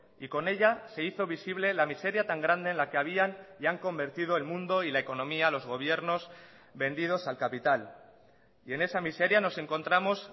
y con ella se hizo visible la miseria tan grande en la que habían y han convertido el mundo y la economía los gobiernos vendidos al capital y en esa miseria nos encontramos